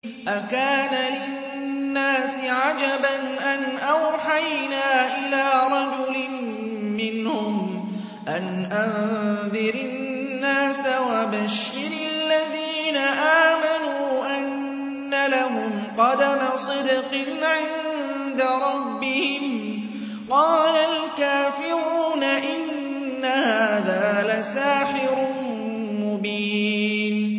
أَكَانَ لِلنَّاسِ عَجَبًا أَنْ أَوْحَيْنَا إِلَىٰ رَجُلٍ مِّنْهُمْ أَنْ أَنذِرِ النَّاسَ وَبَشِّرِ الَّذِينَ آمَنُوا أَنَّ لَهُمْ قَدَمَ صِدْقٍ عِندَ رَبِّهِمْ ۗ قَالَ الْكَافِرُونَ إِنَّ هَٰذَا لَسَاحِرٌ مُّبِينٌ